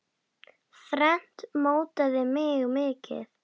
Þrennt mótaði mig mikið.